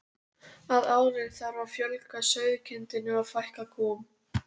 Að ári þarf að fjölga sauðkindinni og fækka kúm.